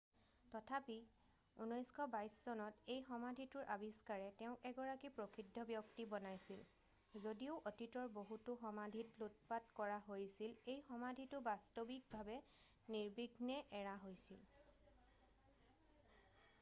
তথাপি 1922 চনত এই সমাধিটোৰ আৱিষ্কাৰে তেওঁক এগৰাকী প্ৰসিদ্ধ ব্যক্তি বনাইছিল যদিও অতীতৰ বহুতো সমাধিত লুটপাট কৰা হৈছিল এই সমাধিটো বাস্তৱিকভাৱে নিৰ্বিঘ্নে এৰা হৈছিল